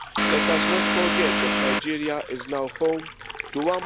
Let us not forget that Nigeria is now home to